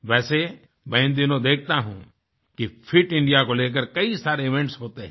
वैसे मैं इन दिनों देखता हूँ कि फिट इंडिया को लेकर कई सारे इवेंट्स होते हैं